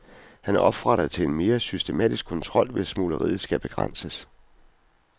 Han opfordrer til en mere systematisk kontrol, hvis smugleriet skal begrænses.